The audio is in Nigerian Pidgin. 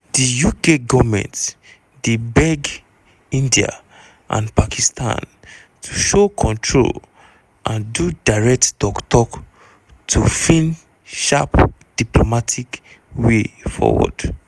di uk goment dey beg india and pakistan to show control and do direct tok tok to fins sharp diplomatic way forward.